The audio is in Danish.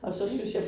Okay